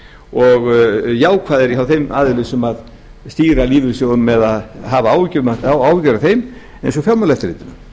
og jákvæðari hjá þeim aðilum sem stýra lífeyrissjóðunum eða hafa áhyggjur af þeim eins og fjármálaeftirlitinu